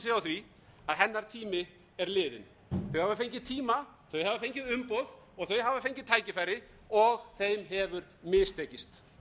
hennar tími er liðinn þau hafa fengið tíma þau hafa fengið umboð og þau hafa fengið tækifæri og þeim hefur mistekist